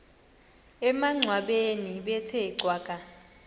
emangcwabeni bethe cwaka